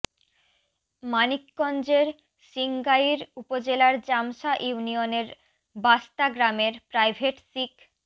মানিকগঞ্জের সিংগাইর উপজেলার জামসা ইউনিয়নের বাস্তা গ্রামের প্রাইভেট শিক্